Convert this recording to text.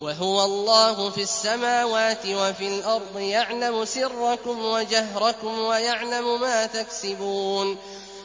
وَهُوَ اللَّهُ فِي السَّمَاوَاتِ وَفِي الْأَرْضِ ۖ يَعْلَمُ سِرَّكُمْ وَجَهْرَكُمْ وَيَعْلَمُ مَا تَكْسِبُونَ